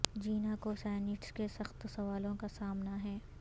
جینا کو سینیٹز کے سخت سوالوں کا سامنا ہے